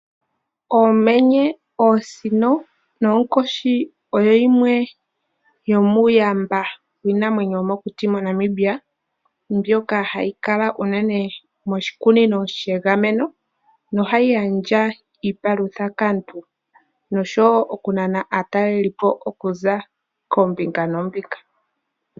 Oomenye, oosino noonkoshi oyo yimwe yomuuyamba wiinamwenyo yomoNamibia mbyono hayi kala unene moshikunino shiinamwenyo sha gamenwa nohayi gandja iipalutha kaantu, ohayi nana woo naatalelipo okuza kombinga noombinga.